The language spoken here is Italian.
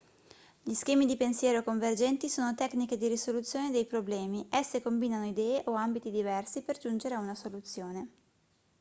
gli schemi di pensiero convergenti sono tecniche di risoluzione dei problemi esse combinano idee o ambiti diversi per giungere a una soluzione